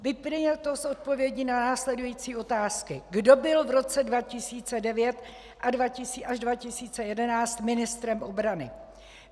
Vyplyne to z odpovědí na následující otázky: Kdo byl v roce 2009 až 2011 ministrem obrany?